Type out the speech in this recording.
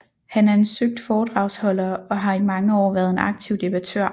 Han er en søgt foredragsholder og har i mange år været en aktiv debattør